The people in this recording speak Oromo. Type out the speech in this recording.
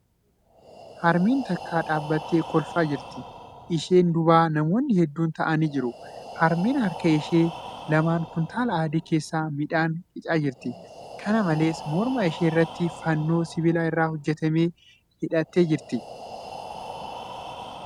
Harmeen takka dhaabbattee kolfaa jirti. Ishee duuba namoonni hedduun taa'anii jiru. Harmeen harka ishee lamaan kuntaala adii keessaa midhaan qicaa jirti. Kana malees, morma ishee irratti fannoo sibiila irraa hojjatame hidhattee jirti.